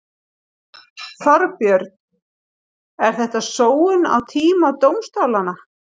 Þorbjörn: Er þetta sóun á tíma dómstólanna?